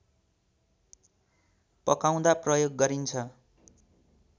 पकाउँदा प्रयोग गरिन्छ